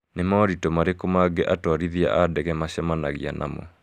Nĩ moritũ marĩkũ mangĩ atwarithia a ndege macemanagia namo?